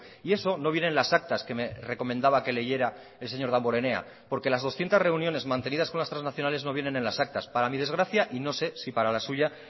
y eso no viene en las actas que me recomendaba que leyera el señor damborenea porque las doscientos reuniones mantenidas con las trasnacionales no vienen en las actas para mi desgracia y no sé si para la suya